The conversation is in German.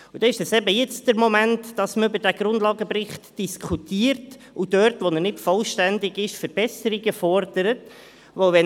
Deshalb ist es jetzt der Moment, über diesen Grundlagenbericht zu diskutieren und dort, wo er nicht vollständig ist, Verbesserungen zu fordern.